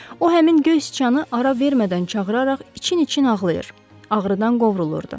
O, həmin göy siçanı ara vermədən çağıraraq için-için ağlayır, ağrıdan qovrulurdu.